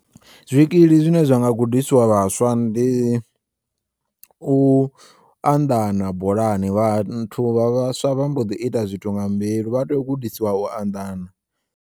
Zwikili zwine zwanga gudiswa vhaswa ndi u anḓana bolani, vhathu vha vhaswa vha mboḓi ita zwithu nga mbilu vha tea ugudiswa u anḓana.